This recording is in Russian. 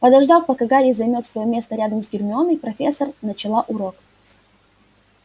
подождав пока гарри займёт своё место рядом с гермионой профессор начала урок